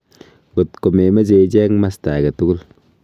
ngot ko memeche ichen masta age tugul